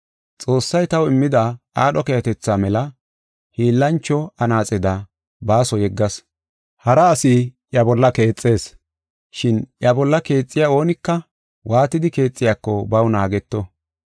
Xoossay taw immida aadho keehatetha mela hiillancho anaaxeda baaso yeggas. Hara asi iya bolla keexees. Shin iya bolla keexiya oonika waatidi keexiyako, baw naageto.